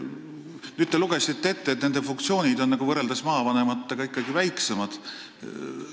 Nüüd te lugesite meile ette, et nende funktsioonid on võrreldes maavanematega ikkagi väiksemad.